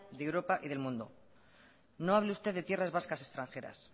de europa y del mundo no hable usted de tierras vascas extranjeras